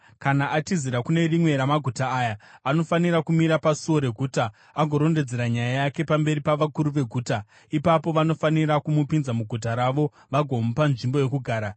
“Kana atizira kune rimwe ramaguta aya, anofanira kumira pasuo reguta agorondedzera nyaya yake pamberi pavakuru veguta. Ipapo vanofanira kumupinza muguta ravo vagomupa nzvimbo yokugara.